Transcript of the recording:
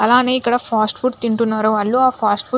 అలాగే ఇక్కడ fast food తింటున్నారు వాళ్ళు ఆ ఫాస్ట్ ఫుడ్ --